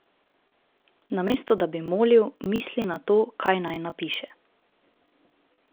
Namesto da bi molil, misli na to, kaj naj napiše.